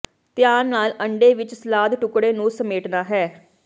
ਧਿਆਨ ਨਾਲ ਅੰਡੇ ਵਿੱਚ ਸਲਾਦ ਟੁਕੜੇ ਨੂੰ ਸਮੇਟਣਾ ਹੈ